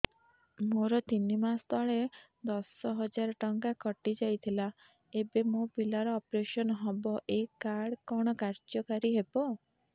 ମୋର ତିନି ମାସ ତଳେ ଦଶ ହଜାର ଟଙ୍କା କଟି ଯାଇଥିଲା ଏବେ ମୋ ପିଲା ର ଅପେରସନ ହବ ଏ କାର୍ଡ କଣ କାର୍ଯ୍ୟ କାରି ହବ